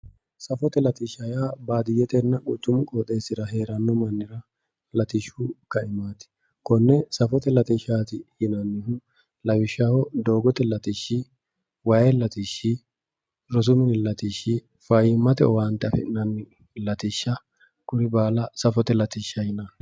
safote latishsha yaa baadiyyetenna quchumu mannira hee'ranno latishshu kaimaati konne safote latishsha yinanni lawishshaho doogote latishshi, waay latishshi, rosu mini latishshi ,fayyimmate latishsha afi'nayiwa